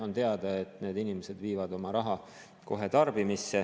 On teada, et need inimesed viivad oma raha kohe tarbimisse.